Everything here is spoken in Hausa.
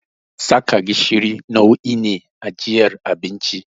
Saka gishiri nau'i ne na ajiyar abinci.